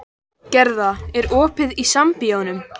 Gerða, er opið í Sambíóunum?